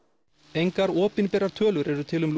engar opinberar tölur eru til um